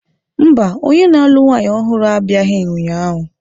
Mba, onye na-alụ nwanyị ọhụrụ abịaghị ụnyahụ.